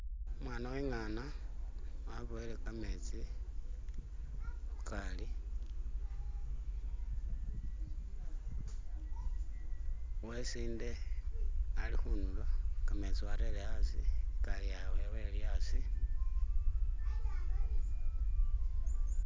Umwana we'ngana waboyele kametsi khugali, uwe sinde ali khunywa kametsi warere asi igali yabwe ili asi.